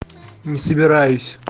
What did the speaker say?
не собираюсь